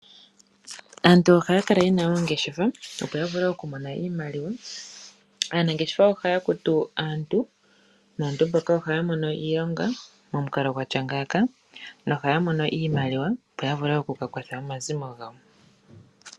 Aantu ohaya kala ye na oongeshefa, opo ya vule okumona iimaliwa. Aanangeshefa ohaya kunu aantu naantu mbaka ohaya mono iilonga momukalo gwa tya ngaaka nohaya mono iimaliwa, opo ya vule oku ka kwatha omazimo gawo.